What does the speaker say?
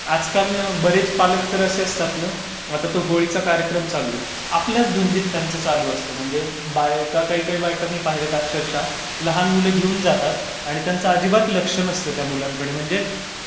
आजकाल ना तर बरेच पालक असे असतात ना, आता तो होळीचा कार्यक्रम चालू आहे, आपल्याच धुंदीत त्यांचं चालू असतं. म्हणजे बायका, काही काही बायका मी पाहिल्यात अक्षरशः लहान मुलं घेऊन जातात आणि त्यांचा अजिबात लक्ष नसतं त्या मुलांकडे म्हणजे